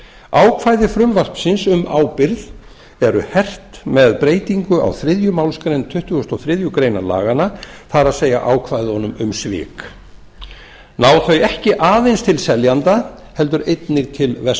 ákvæði frumvarpsins um ábyrgð eru hert með breytingu á þriðju málsgrein tuttugustu og þriðju grein laganna það er ákvæðunum um svik sem ná ekki aðeins til seljanda heldur einnig verslunaraðila